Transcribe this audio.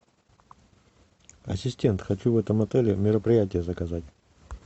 ассистент хочу в этом отеле мероприятие заказать